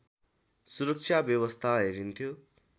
सुरक्षा व्यवस्था हेरिन्थ्यो